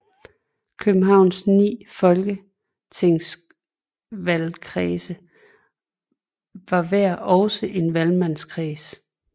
Københavns 9 folketingsvalgkredse var hver også en valgmandskreds